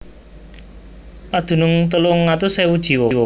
Padunung telung atus ewu jiwa